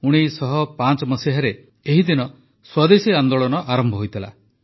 ୧୯୦୫ ମସିହାରେ ଏହି ଦିନ ସ୍ୱଦେଶୀ ଆନ୍ଦୋଳନ ଆରମ୍ଭ ହୋଇଥିଲା